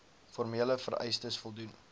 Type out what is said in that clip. formele vereistes voldoen